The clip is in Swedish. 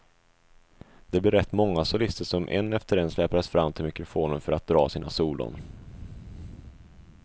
Det blev rätt många solister som en efter en släpades fram till mikrofonen för att dra sina solon.